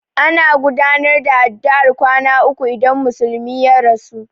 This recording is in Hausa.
Ana gudanar da addu'ar kwana uku idan musulmi ya rasu.